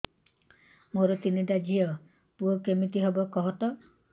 ମୋର ତିନିଟା ଝିଅ ପୁଅ କେମିତି ହବ କୁହତ